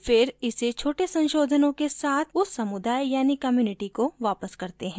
वे फिर इसे छोटे संशोधनों के साथ उस समुदाय यानि community को वापस करते हैं